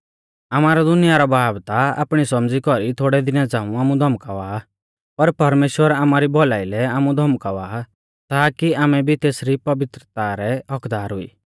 आमारौ दुनिया रौ बाब ता आपणी सौमझ़ी कौरी थोड़ै दिना झ़ाऊं आमु धौमकावा आ पर परमेश्‍वर आमारी भौलाई लै आमु धौमकावा आ ताकी आमै भी तेसरी पवित्रा रै हक्क्कदार हुई